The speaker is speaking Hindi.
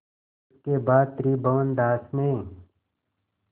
इसके बाद त्रिभुवनदास ने